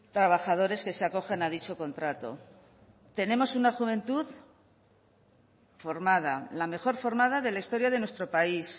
trabajadores que se acogen a dicho contrato tenemos una juventud formada la mejor formada de la historia de nuestro país